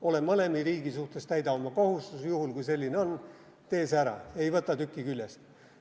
Ole mõlema riigi suhtes lojaalne, täida oma kohustus, juhul kui selline on, tee see ära, ei võta tükki küljest.